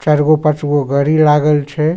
चार गो पाँच गो गड़ी लागल छै।